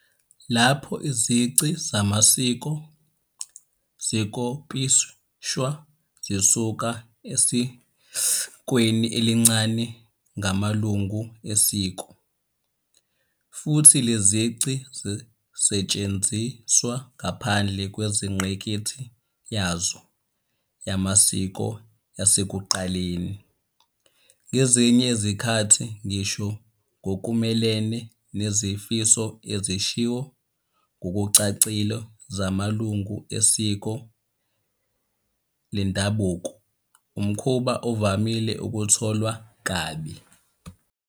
Lapho izici zamasiko zikopishwa zisuka esikweni elincane ngamalungu esiko, futhi lezi zici zisetshenziswa ngaphandle kwengqikithi yazo yamasiko yasekuqaleni - ngezinye izikhathi ngisho ngokumelene nezifiso ezishiwo ngokucacile zamalungu esiko lendabuko - umkhuba uvame ukutholwa kabi